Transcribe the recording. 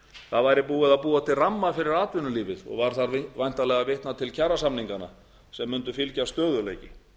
það væri búið að búa til ramma fyrir atvinnulífið og var þar væntanlega að vitna til kjarasamninganna sem mundi fylgja stöðugleiki